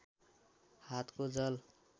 हातको जल